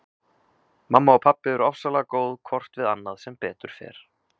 Mamma og pabbi eru ofsalega góð hvort við annað sem betur fer.